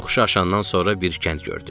Yoxuşu aşandan sonra bir kənd gördük.